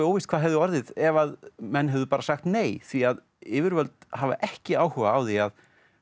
óvíst hvað hefði orðið ef menn hefðu sagt bara nei því yfirvöld hafa ekki áhuga á því að